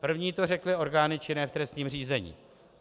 První to řekly orgány činné v trestním řízení.